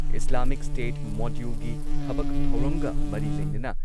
Islamic State ꯃꯣꯗ꯭ꯌꯨꯜꯒꯤ ꯊꯕꯛ ꯊꯧꯔꯝꯒ ꯃꯔꯤ ꯂꯩꯅꯅ